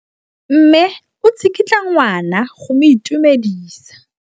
Mme o tsikitla ngwana go mo itumedisa.